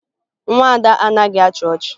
Nwa Ada anaghị achị ọchị